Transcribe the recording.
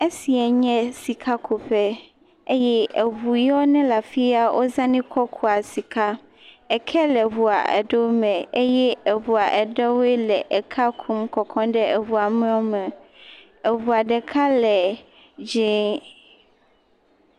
Esiae nye sikakuƒe, eye eŋu yewo nele afi ya, wozãnɛ kɔ kua sika, eke le eŋua ɖewo me eye eŋua aɖewoe le ekea kum kɔkɔm ɖe eŋua mewo me.